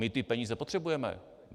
My ty peníze potřebujeme.